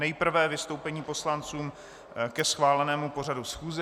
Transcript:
Nejprve vystoupení poslanců ke schválenému pořadu schůze.